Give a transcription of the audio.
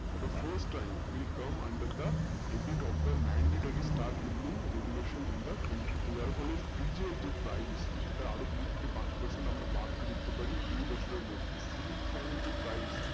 for the first time we come under the appite of the mandatory startibly regulation in the country তো তার ফলে fridge এর যে price আরো দুই থাকে পাঁচ percent আরো আমরা বাড়তে দেখতে পারি celing fan এর যে price